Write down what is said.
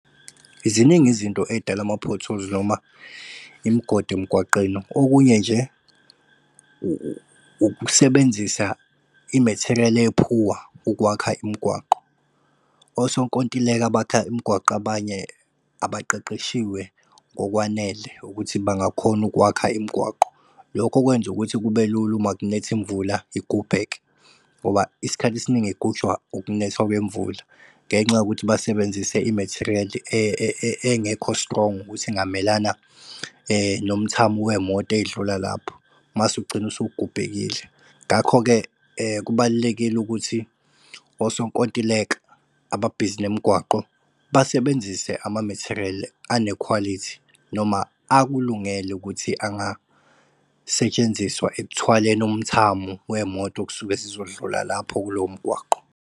Ziningi izinto edala ama-potholes noma imgodi emgwaqeni okunye nje ukusebenzisa i-material ephuwa ukwakha imgwaqo. Osonkontileka abakha imgwaqo abanye abaqeqeshiwe ngokwanele ukuthi bangakhona ukwakha imgwaqo. Lokho okwenza ukuthi kube lula uma kunetha imvula igubheke ngoba isikhathi esiningi igujwa ukunetha kwemvula ngenxa yokuthi basebenzise i-material engekho strong ukuthi ingamelana nomthamo wemoto ey'dlula lapho mase ugcine usugubhekile. Ngakho-ke kubalulekile ukuthi osonkontileka ababhizi nemigwaqo basebenzise ama-material anekhwalithi noma akulungele ukuthi angasetshenziswa ekuthwaleni umthamo wemoto okusuke zizodlula lapho kulowomgwaqo.